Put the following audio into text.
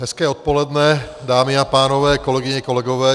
Hezké odpoledne, dámy a pánové, kolegyně, kolegové.